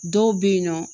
Dɔw bɛ yen nɔ